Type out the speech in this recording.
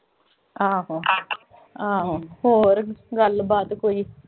ਆਹੋ ਆਹੋ। ਹੋਰ ਗੱਲਬਾਤ ਕੋਈ। ਹੋਰ ਕੀ ਠੀਕ ਐ।